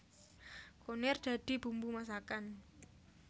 Kunir dadi bumbu masakan